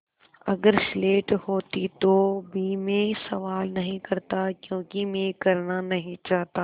अगर स्लेट होती तो भी मैं सवाल नहीं करता क्योंकि मैं करना नहीं चाहता